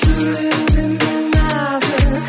жүрегің сенің нәзік